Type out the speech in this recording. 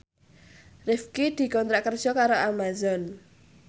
Rifqi dikontrak kerja karo Amazon